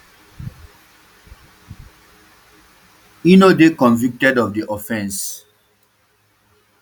e no dey convicted of di offence um